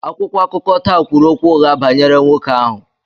Akwụkwọ akụkọ taa kwuru okwu ụgha banyere nwoke ahụ.